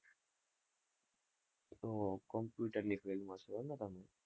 હમ હમ computer ની field માં છો એમ ને તમે.